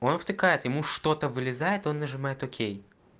он втыкает ему что-то вылезает он нажимает окей